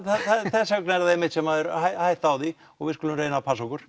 þess vegna er það einmitt sem það er hætta á því og við skulum reyna að passa okkur